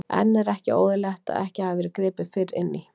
En er ekki óeðlilegt að ekki hafi verið gripið fyrr inn í?